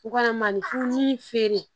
U kana malifurun feere